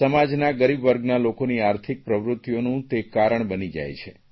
સમાજના ગરીબ વર્ગના લોકોની આર્થિક પ્રવૃત્તિઓનું તે કારણ બની જાય છે